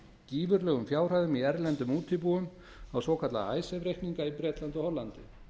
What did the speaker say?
gífurlegum fjárhæðum í erlendum útibúum á svokallaða icesave reikninga í bretlandi og hollandi